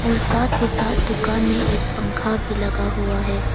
और साथ ही साथ दुकान में एक पंखा भी लगा हुआ है।